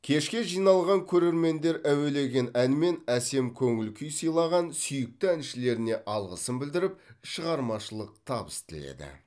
кешке жиналған көрермендер әуелеген ән мен әсем көңіл күй сыйлаған сүйікті әншілеріне алғысын білдіріп шығармашылық табыс тіледі